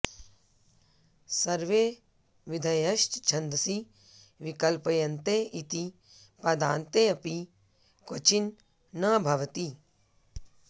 सर्वे विधयश्छन्दसि विकल्प्यन्ते इति पादान्ते ऽपि क्वचिन् न भवति